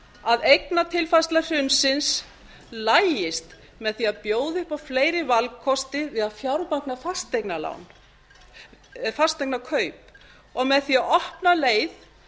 að eignatilfærsla hrunsins lagist með því að bjóða upp á fleiri valkosti við að fjármagna fasteignakaup og með því að opna leið